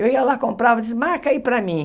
Eu ia lá, comprava, dizia, marca aí para mim.